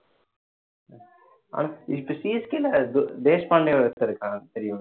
இப்ப CSK ஒருத்தன் இருக்கான் தெரியும்ல